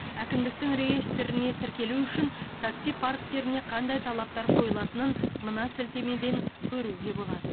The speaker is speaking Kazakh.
әкімдіктің реестріне тіркелу үшін такси парктеріне қандай талаптар қойылатынын мына сілтемеден көруге болады